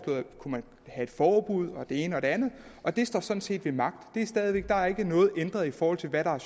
forbud og det ene og det andet og det står sådan set ved magt der er ikke noget ændret i forhold til hvad der er